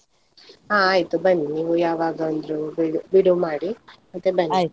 ಹಾ ಆಯ್ತು ಬನ್ನಿ, ನೀವು ಯಾವಾಗಾಂದ್ರೂ ಬಿಡು~ ಬಿಡುವು ಮಾಡಿ ಮತ್ತೆ .